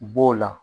B'o la